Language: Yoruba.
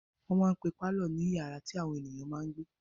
Wọ́n máa n pe pálọ̀ ní yàrá tí àwọn èèyàn máa n gbé